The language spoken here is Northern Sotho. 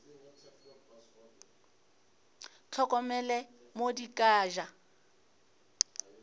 hlokomele mo di ka ja